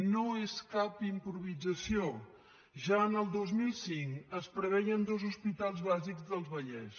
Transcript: no és cap improvisació ja en el dos mil cinc es preveien dos hospitals bàsics del vallès